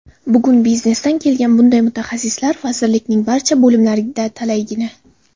Bugun biznesdan kelgan bunday mutaxassislar vazirlikning barcha bo‘limlarida talaygina.